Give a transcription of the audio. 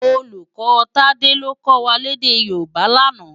Ólúkò Tade ló kò wá lèdè Yoruba làná